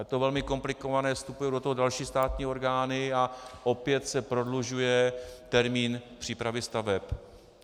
Je to velmi komplikované, vstupují do toho další státní orgány a opět se prodlužuje termín přípravy staveb.